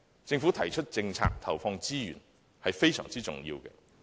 政府提出政策，並投放資源，是非常重要的。